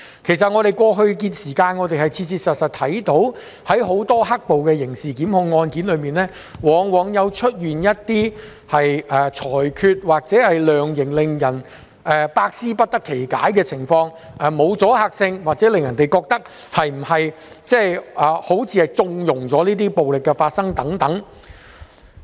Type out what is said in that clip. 其實我們過去的時間，切切實實看到很多"黑暴"的刑事檢控案件中，一些裁決或量刑往往出現令人百思不得其解的情況，例如沒有阻嚇性或令人覺得法官是否在縱容這些暴力行為發生等。